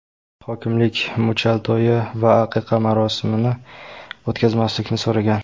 Hokimlik muchal to‘yi va aqiqa marosimini o‘tkazmaslikni so‘ragan.